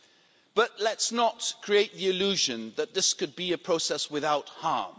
However, let's not create the illusion that this could be a process without harm.